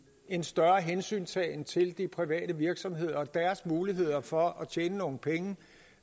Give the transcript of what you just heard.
en større hensyntagen til de private virksomheder og deres muligheder for at tjene nogle penge